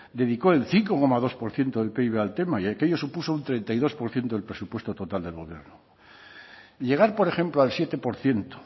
dedicó el cinco coma dos por ciento del pib al tema y aquello supuso un treinta y dos por ciento del presupuesto total del gobierno llegar por ejemplo al siete por ciento